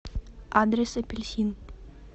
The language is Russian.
адрес апельсин